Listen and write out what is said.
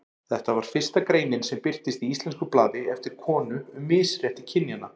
Þetta var fyrsta greinin sem birtist í íslensku blaði eftir konu um misrétti kynjanna.